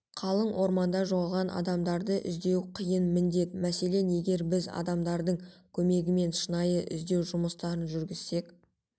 қалың орманда жоғалған адамдарды іздеу қиын міндет мәселен егерде біз адамдардың көмегімен шынайы іздеу жұмыстарын жүргізсек